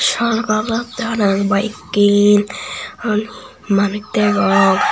chol golotte hon en biyekken hon manuj degong.